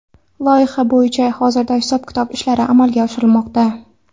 Loyiha bo‘yicha hozirda hisob-kitob ishlari amalga oshirilmoqda.